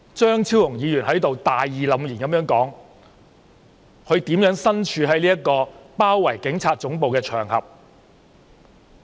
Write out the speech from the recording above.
張超雄議員剛才在此大義凜然地說，他如何身處包圍警察總部的場合。